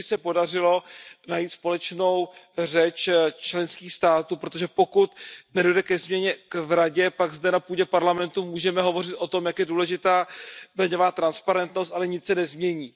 Kéž by se podařilo najít společnou řeč členských států, protože pokud nedojde ke změně v Radě, pak zde na půdě Parlamentu můžeme hovořit o tom, jak je důležitá daňová transparentnost, ale nic se nezmění.